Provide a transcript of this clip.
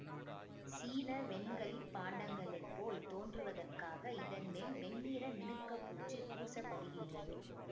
சீன வெண்களிப் பாண்டங்களைப் போல் தோன்றுவதற்காக இதன்மேல் வெண்ணிற மினுக்கப் பூச்சுப் பூசப்படுகின்றது